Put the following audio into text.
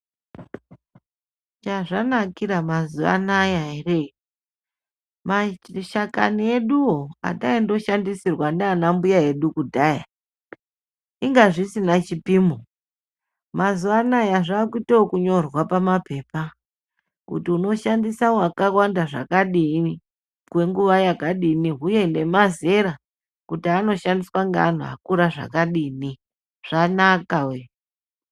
Chazvanakira mazuwa anaya ere maitishakani eduwo ataindoshandisirwa ndiana mbuya edu kudhaya inga zvisina chipimo mazuwa anaya zvakuite ekunyorwa pamapepa kuti unoshandisa wakawanda zvakadini kwenguwa yakadini uye nemazera kuti anoshandiswa ngeanhu akura zvakadini zvanaka wee.